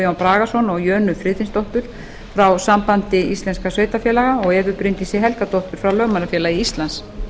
guðjón bragason og jönu friðfinnsdóttur frá sambandi íslenskra sveitarfélaga og evu bryndísi helgadóttur frá lögmannafélagi íslands